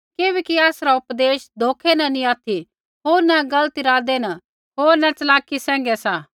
किबैकि आसरा उपदेश धोखै न नी ऑथि होर न गलत इरादे होर न च़लाकी सैंघै सा